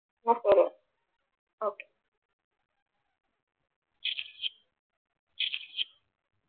എന്നാൽ ശരി ഒക്കെ